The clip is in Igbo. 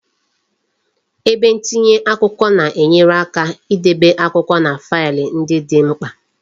Ebe ntinye akwụkwọ na enyere aka idebe akwụkwọ na faịlụ ndị dị mkpa